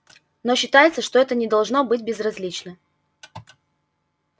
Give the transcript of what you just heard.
но считается что это не должно быть безразлично